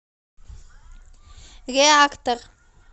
реактор